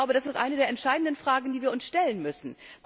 Das ist eine der entscheidenden Fragen, die wir uns stellen müssen.